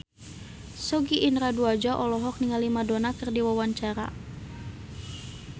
Sogi Indra Duaja olohok ningali Madonna keur diwawancara